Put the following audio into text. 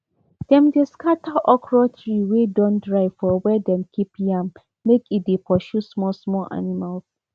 dem dey scatter okra tree wey don dry for where them keep yam make e dey pursue small small animals